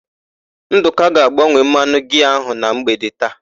Ndụka ga-agbanwe mmanụ giaa ahụ na mgbede taa.